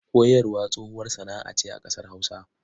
Koyarwa tsohuwar sana'a ce a ƙasar Hausa.